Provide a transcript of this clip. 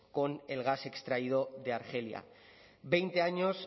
con el gas extraído de argelia veinte años